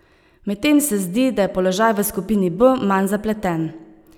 Medtem se zdi, da je položaj v skupini B manj zapleten.